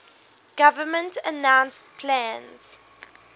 government announced plans